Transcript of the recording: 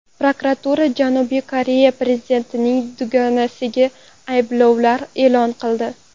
Prokuratura Janubiy Koreya prezidentining dugonasiga ayblovlar e’lon qildi.